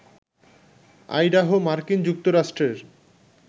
Idaho মার্কিন যুক্তরাষ্ট্রের